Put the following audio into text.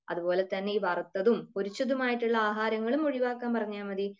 അതുപോലെ തന്നെ ഈ വറുത്തതും പൊരിച്ചതും ആയിട്ടുള്ള ആഹാരങ്ങളും ഒഴിവാക്കാൻ പറഞ്ഞാൽ മതി.